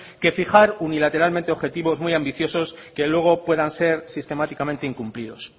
que fijar unilateralmente objetivos muy ambiciosos que luego puedan ser sistemáticamente incumplidos